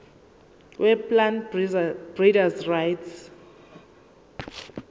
weplant breeders rights